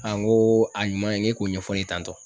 ŋoo a ɲuman in ŋ'e k'o ɲɛfɔ n ye tantɔ.